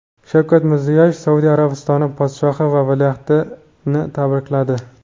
Shavkat Mirziyoyev Saudiya Arabistoni podshohi va valiahdini tabrikladi.